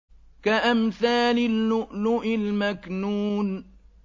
كَأَمْثَالِ اللُّؤْلُؤِ الْمَكْنُونِ